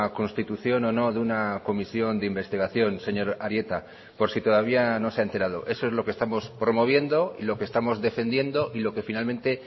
constitución o no de una comisión de investigación señor arieta por si todavía no se ha enterado eso es lo que estamos promoviendo y lo que estamos defendiendo y lo que finalmente